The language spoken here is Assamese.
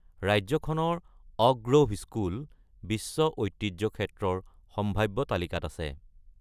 ৰাজ্যখনৰ অক গ্ৰ’ভ স্কুল বিশ্ব ঐতিহ্য ক্ষেত্ৰৰ সাম্ভাব্য তালিকাত আছে।